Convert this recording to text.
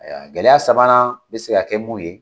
Gɛlɛya sabanan bɛ se ka kɛ mun ye